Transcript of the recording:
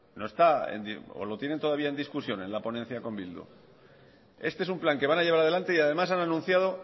no está o lo tienen todavía en discusiones la ponencia con bildu este es un plan que van a llevar adelante y además han anunciado